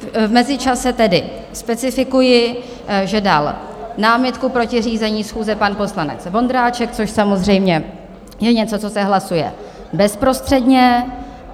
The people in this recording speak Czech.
V mezičase tedy specifikuji, že dal námitku proti řízení schůze pan poslanec Vondráček, což samozřejmě je něco, co se hlasuje bezprostředně.